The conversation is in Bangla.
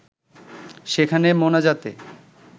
সেখানে মোনাজাতে